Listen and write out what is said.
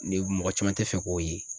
Ni mɔgɔ caman tɛ fɛ k'o ye.